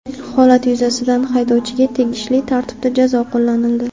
Holat yuzasidan haydovchiga tegishli tartibda jazo qo‘llanildi.